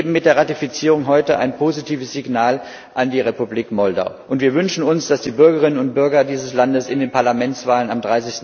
Wir geben mit der Ratifizierung heute ein positives Signal an die Republik Moldau, und wir wünschen uns, dass die Bürgerinnen und Bürger dieses Landes bei der Parlamentswahl am